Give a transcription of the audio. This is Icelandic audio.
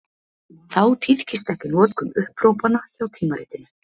Þá tíðkist ekki notkun upphrópana hjá tímaritinu.